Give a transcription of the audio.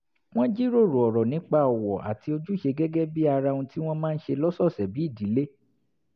wọ́n jíròrò ọ̀rọ̀ nípa ọ̀wọ̀ àti ojúṣe gẹ́gẹ́ bí ara ohun tí wọ́n máa ń ṣe lọ́sọ̀ọ̀sẹ̀ bí ìdílé